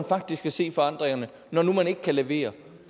faktisk kan se forandringerne når nu man ikke kan levere